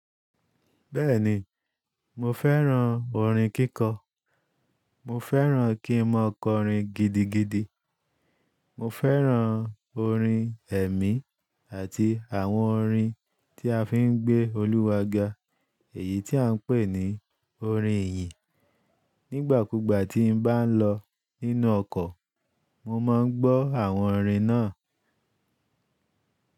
Bẹ́ẹ̀ni, mo fẹ́ràn orin kíkọ. Mo fẹ́ràn kí n mọ ọkọ̀ orin gidigidi. Mo fẹ́ràn orin ẹ̀mí àti àwọn orin tí a fi ń gbé olúwa ga, èyí tí à ń pè ní orin ìyìn. Nígbà kúgbà tí n bá lọ nínú ọkọ̀, mo máa ń gbọ́ àwọn orin náà.